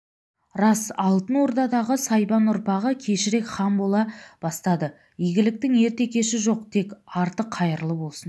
рас алтын ордадағы сайбан ұрпағы кешірек хан бола бастады игіліктің ерте-кеші жоқ тек арты қайырлы болсын